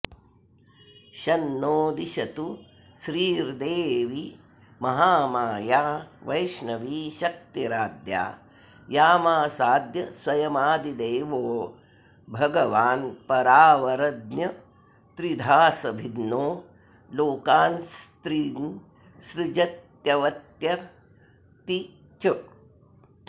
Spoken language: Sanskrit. शन्नो दिशतु श्रीर्द्दैवी महामाया वैष्णवीशक्तिराद्या यामासाद्य स्वयमादिदेवो भगवान्परावरज्ञस्त्रिधासम्भिन्नो लोकांस्त्रीन्सृजत्यवत्यत्ति च